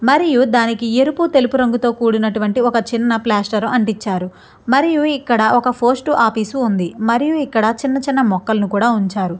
మరియు దానికి ఎరుపు తెలుపు రంగుతో కూడినటువంటి ఒక చిన్న ప్లాస్టర్ అంటించారు మరియు ఇక్కడ ఒక పోస్ట్ ఆఫీస్ ఉంది. మరియు ఇక్కడ చిన్న చిన్న మొక్కలను కూడా ఉంచారు.